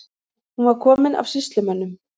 Hún var komin af sýslumönnum.